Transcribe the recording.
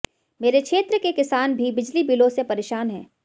मेरे क्षेत्र के किसान भी बिजली बिलों से परेशान हैं